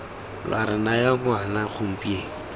lwa re naya ngwana gompieno